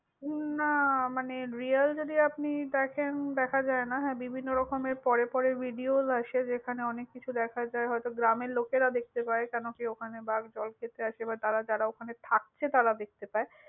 না মানে, real যদি আপনি দেখেন, দেখা যায় না। হ্যাঁ বিভিন্ন রকমের পরে পরে videos আসে যেখানে অনেক কিছু দেখা যায়. হয়ত গ্রামের লোকেরা দেখতে পায়. কেন কি ওখানে বাঘ জল খেতে আসে। মানে যারা ওখানে থাকছে তারা দেখতে পায়।